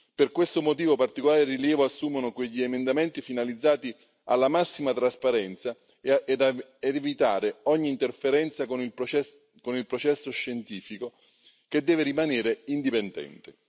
Per questo motivo, particolare rilievo assumono quegli emendamenti finalizzati alla massima trasparenza ed evitare ogni interferenza con il processo scientifico che deve rimanere indipendente.